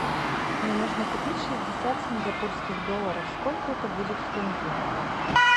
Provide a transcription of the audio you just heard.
мне нужно купить шестьдесят сингапурских долларов сколько это будет в тенге